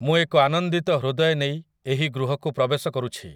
ମୁଁ ଏକ ଆନନ୍ଦିତ ହୃଦୟ ନେଇ ଏହି ଗୃହକୁ ପ୍ରବେଶ କରୁଛି ।